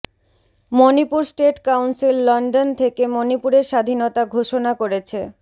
Manipur state council London থেকে মণিপুরের স্বাধীনতা ঘোষণা করেছে